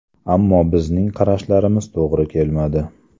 Ammo bizning qarashlarimiz to‘g‘ri kelmadi.